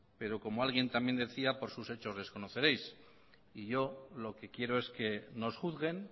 pero como alguien también decía por sus hechos les conoceréis y yo lo que quiero es que nos juzguen